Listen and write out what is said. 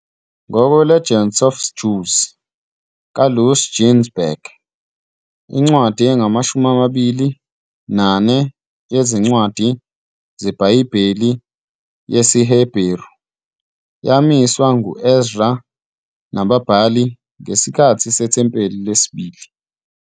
Ngokwe- "Legends of the Jews" kaLouis Ginzberg, incwadi engamashumi amabili nane yezincwadi zeBhayibheli yesiHeberu yamiswa ngu- Ezra nababhali ngesikhathi seThempeli Lesibili.